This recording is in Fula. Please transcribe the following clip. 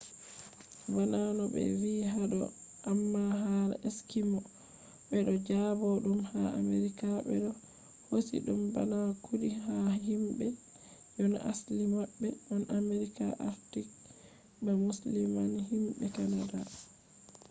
bana no be vi hado amma hala eskimo” be do jaba dum ha america be do hosi dum bana kudi ha himbe je na asli mabbe on america arctic ba musamman himbe canada